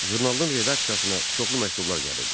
Jurnalın redaksiyasına çoxlu məktublar gəlirdi.